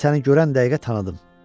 Mən səni görən dəqiqə tanıdım.